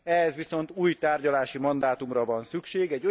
Ehhez viszont új tárgyalási mandátumra van szükség.